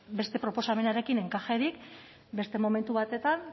beste proposamenarekin enkajerik beste momentu batean